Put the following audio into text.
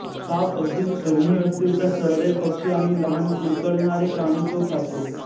साप अगदीच दुर्मीळ असतील तर सरडे पक्षी आणि लहान कुरतड्णारे प्राणी तो खातो